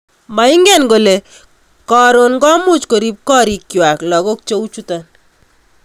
Moingen kole korom komuch Korib gorikwai lagok cheuchoto